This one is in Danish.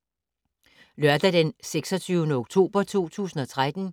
Lørdag d. 26. oktober 2013